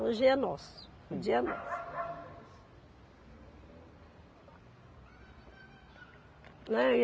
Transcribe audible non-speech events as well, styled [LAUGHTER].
Hoje é nosso, o dia é nosso. [NOISE] Né e